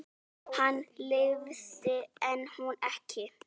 Hann lifði en hún ekki.